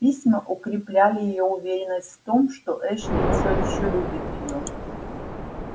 письма укрепляли её уверенность в том что эшли всё ещё любит её